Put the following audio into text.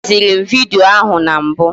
E deziri m vidiyo ahụ na mbụ